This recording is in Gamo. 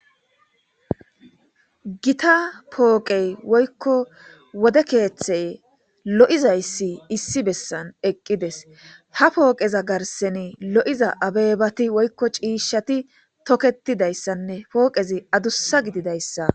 gita pooqey woykko wode keeththey lo7izayssi issi bessan eqqides ha pooqeza garseni lo7iza abeebati woykko ciishshati toketidayssanne pooqezi adussa gididayssa